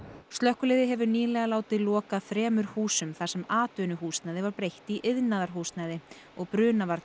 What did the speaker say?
slökkviliðið hefur nýlega látið loka þremur húsum þar sem atvinnuhúsnæði var breytt í íbúðarhúsnæði og brunavarnir